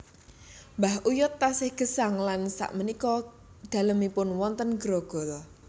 Mbah uyut taksih gesang lan sak menika dalemipun wonten Grogol